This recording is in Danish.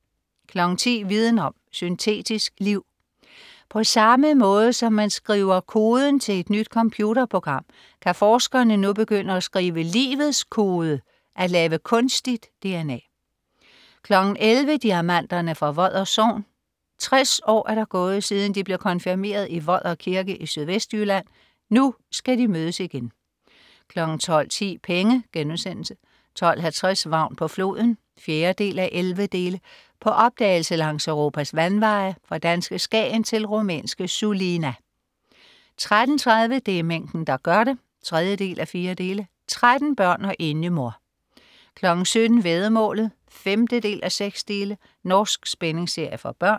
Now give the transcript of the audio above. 10.00 Viden Om: Syntetisk liv. På samme måde som man skriver koden til et nyt computerprogram, kan forskerne nu begynde at skrive livets kode, at lave kunstigt dna 11.00 Diamanterne fra Vodder Sogn. 60 år er der gået, siden de blev konfirmeret i Vodder Kirke i Sydvestjylland. Nu skal de mødes igen 12.10 Penge* 12.50 Vagn på floden. 4:11. På opdagelse langs Europas vandveje, fra danske Skagen til rumænske Sulina 13.30 Det er mængden der gør det 3:4. 13 børn og enlig mor! 17.00 Væddemålet 5:6. Norsk spændingsserie for børn